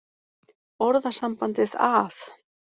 Orðasambandið að